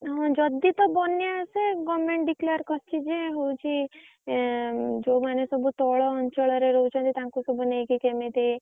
ହଁ ଯଦି ତ ବନ୍ୟା ଆସେ government declare କରିଛି ଯେ ହଉଛି ଯୋଉମାନେ ସବୁ ତଳ ଅଞ୍ଚଳରେ ରହୁଛନ୍ତି ତାଙ୍କୁ ସବୁ ନେଇକି କେମିତି।